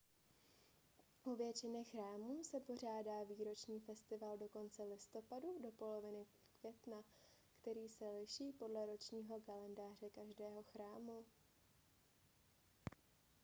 u většiny chrámů se pořádá výroční festival od konce listopadu do poloviny května který se liší podle ročního kalendáře každého chrámu